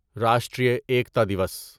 Rashtriya Ekta Diwas